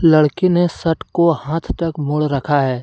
लड़के ने शट को हाथ तक मोड़ रखा है।